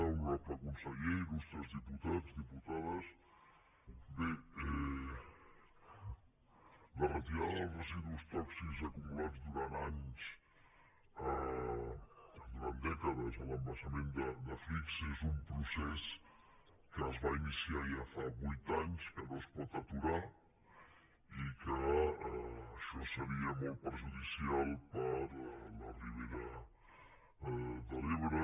honorable conseller il·residus tòxics acumulats durant anys durant dècades a l’embassament de flix és un procés que es va ini ciar ja fa vuit anys que no es pot aturar i que això seria molt perjudicial per a la ribera de l’ebre